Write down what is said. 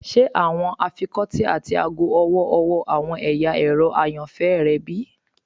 Ṣe awọn afikọti ati aago ọwọ-ọwọ awọn ẹya ẹrọ ayanfẹ rẹ bi?